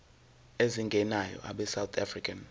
ezingenayo abesouth african